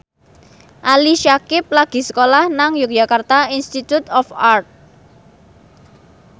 Ali Syakieb lagi sekolah nang Yogyakarta Institute of Art